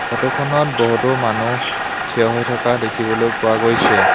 Photo খনত বহুতো মানুহ থিয় হৈ থকা দেখিবলৈ পোৱা গৈছে।